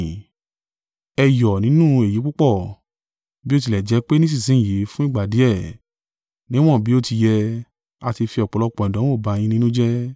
Ẹ yọ̀ nínú èyí púpọ̀, bí ó tilẹ̀ jẹ́ pe nísinsin yìí fún ìgbà díẹ̀, níwọ̀n bí ó ti yẹ, a ti fi ọ̀pọ̀lọpọ̀ ìdánwò bá yín nínú jẹ́.